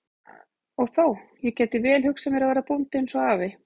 Og þó, ég gæti vel hugsað mér að verða bóndi eins og afi.